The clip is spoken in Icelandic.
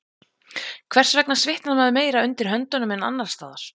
Hvers vegna svitnar maður meira undir höndunum en annars staðar?